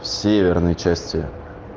северной части